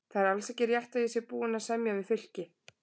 Það er alls ekki rétt að ég sé búinn að semja við Fylki.